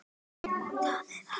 Þau hlógu.